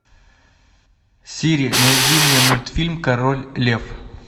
сири найди мне мультфильм король лев